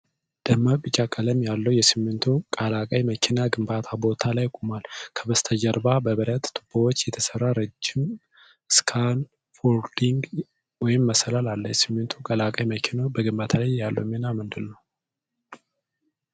ደማቅ ቢጫ ቀለም ያለው ሲሚንቶ ቀላቃይ መኪና ግንባታ ቦታ ላይ ቆሟል። ከበስተጀርባ በብረት ቱቦዎች የተሰራ ረጅም ስካፎልዲንግ (መሰላል) አለ። ሲሚንቶ ቀላቃይ መኪናው በግንባታ ላይ ያለው ሚና ምንድን ነው?